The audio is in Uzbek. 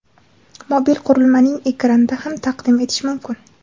mobil qurilmaning ekranida ham taqdim etish mumkin.